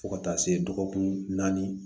Fo ka taa se dɔgɔkun naani